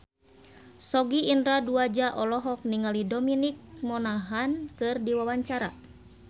Sogi Indra Duaja olohok ningali Dominic Monaghan keur diwawancara